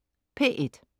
P1: